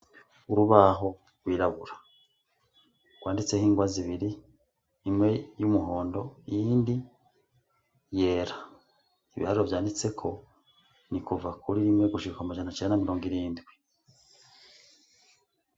Urubaho rwirabura rwanditseko n'ingwa zibiri imwe y'umuhondo iyindi yera ibiharuro vyanditseko ni kuva kuri rimwe gushika amajana icenda na mirongo irindwi